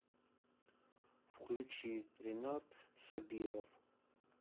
включи ренат собиров